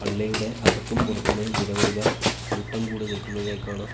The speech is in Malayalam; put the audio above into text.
പള്ളിയുടെ അകത്തും പുറത്തുമായി നിരവധി പേർ കൂട്ടം കൂടി നിൽക്കുന്നതായി കാണാം.